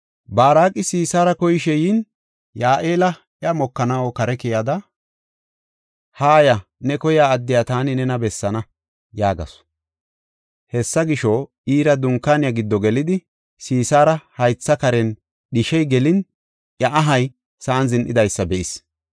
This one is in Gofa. Baaraqi Sisaara koyishe yin, Ya7eela iya mokanaw kare keyada, “Haaya; ne koyiya addiya taani nena bessaana” yaagasu. Hessa gisho, iira dunkaaniya giddo gelidi, Sisaara haytha karen dhishey gelin iya ahay sa7an zin7idaysa be7is.